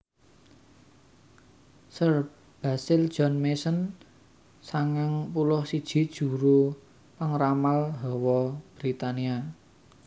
Sir Basil John Mason sangang puluh siji juru pangramal hawa Britania